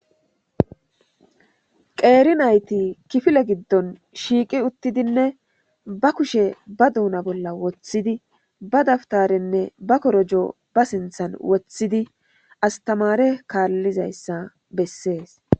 Qeeri nayti kifile giddon shiiqi utidinnne ba kushe ba duuna bolla wothidi , ba dawutarenne ba korojo ba sinthan wothid astamare kaalizaysa besesi.